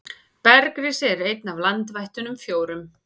Bergrisi er einn af landvættunum fjórum.